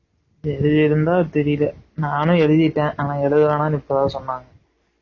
எழுதிருந்தா தெறியல நானும் எழுதிட்டேன் ஆனா எழுத வேணாம்னு இப்போ தான் சொன்னாங்க